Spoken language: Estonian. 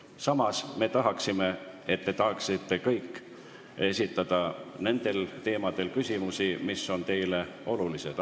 Samas me tahaksime, et te saaksite kõik esitada küsimusi teemadel, mis on teile olulised.